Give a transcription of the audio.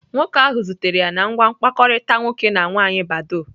Nwoke ahụ zutere ya na ngwa mkpakọrịta nwoke na nwaanyị badoo.